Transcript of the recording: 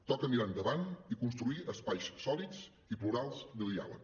toca mirar endavant i construir espais sòlids i plurals de diàleg